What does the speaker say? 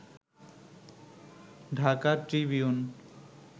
Dhaka Tribune